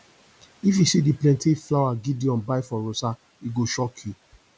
if you see the plenty flower gideon buy for rosa e go shock you